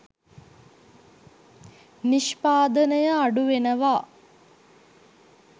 නිෂ්පාදනය අඩු වෙනවා.